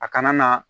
A kana na